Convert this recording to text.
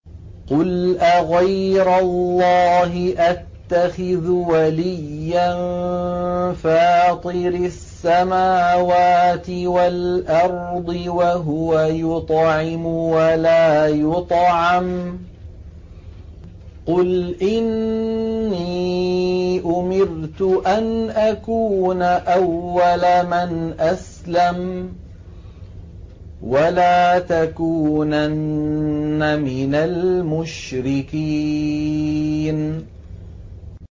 قُلْ أَغَيْرَ اللَّهِ أَتَّخِذُ وَلِيًّا فَاطِرِ السَّمَاوَاتِ وَالْأَرْضِ وَهُوَ يُطْعِمُ وَلَا يُطْعَمُ ۗ قُلْ إِنِّي أُمِرْتُ أَنْ أَكُونَ أَوَّلَ مَنْ أَسْلَمَ ۖ وَلَا تَكُونَنَّ مِنَ الْمُشْرِكِينَ